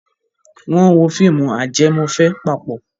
Wọ́n wo fíìmù ajẹmọ́fẹ̀ẹ́ papọ̀?